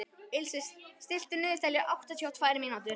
Ilse, stilltu niðurteljara á áttatíu og tvær mínútur.